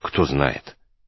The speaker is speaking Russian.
кто знает